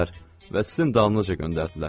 Və sizin dalınızca göndərdilər.